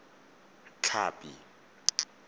tlhapi